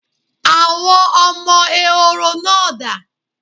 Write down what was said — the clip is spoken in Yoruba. Àwọn ọmọ Ehoro náà dà?